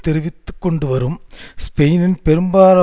தெரிவித்து கொண்டுவரும் ஸ்பெயினின் பெரும்பான